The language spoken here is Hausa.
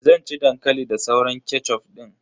Zan ci dankali da sauran kechuf din.